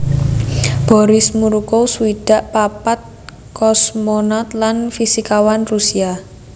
Boris Morukov swidak papat kosmonaut lan fisikawan Rusia